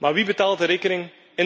Maar wie betaalt de rekening?